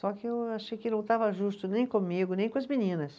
Só que eu achei que não estava justo nem comigo, nem com as meninas.